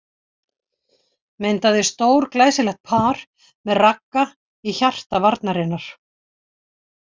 Myndaði stórglæsilegt par með Ragga í hjarta varnarinnar.